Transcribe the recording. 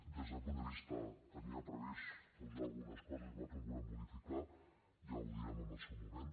des d’aquest punt de vista tenia previst posar algunes coses que nosaltres volem modificar ja ho direm en el seu moment